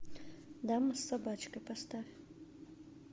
дама с собачкой поставь